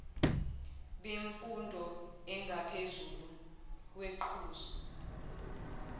bemfundo engaphezulu kweqhuzu